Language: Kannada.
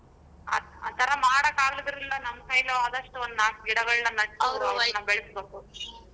ಆ ಆ ತರಾ ಮಾಡಾಕ ಆಗದಿದ್ರುನು ನಮ್ ಕೈಲೇ ಆದಷ್ಟು ಒಂದ ನಾಕ್ ಗಿಡಗಳನ್ನ ಬೆಳೆಸ್ಬೇಕು.